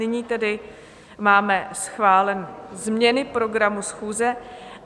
Nyní tedy máme schváleny změny programu schůze.